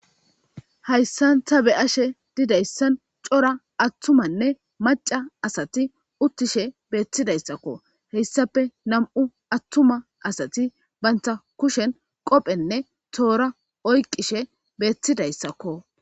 hayssan ta be7ashe didayssan cora attumanne maca asati uttishe beetidayssakko heyssape nam7u attuma asati banta kushen qoopenne toora oyqishe bettidayssakko